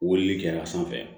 Wilili kɛ a sanfɛ